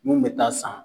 Mun bɛ taa san